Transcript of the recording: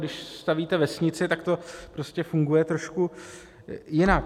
Když stavíte vesnici, tak to prostě funguje trošku jinak.